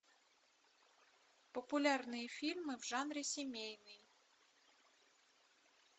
популярные фильмы в жанре семейный